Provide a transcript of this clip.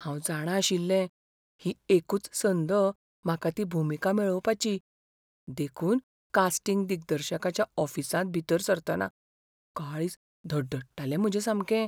हांव जाणा आशिल्लें, ही एकूच संद म्हाका ती भुमिका मेळोवपाची, देखून कास्टिंग दिग्दर्शकाच्या ऑफिसांत भितर सरतना काळीज धडधडटालें म्हजें सामकें.